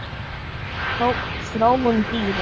Þróun dýra